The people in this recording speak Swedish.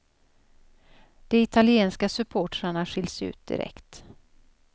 De italienska supportrarna skiljs ut direkt.